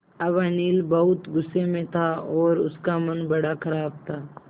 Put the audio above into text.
अब अनिल बहुत गु़स्से में था और उसका मन बड़ा ख़राब था